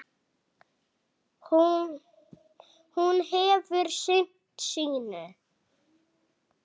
Hún hefur sinnt sínu.